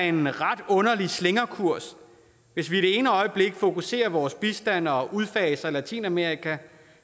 en ret underlig slingrekurs hvis vi det ene øjeblik fokuserer vores bistand og udfaser latinamerika